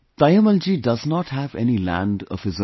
Taimmal ji does not have any land of her own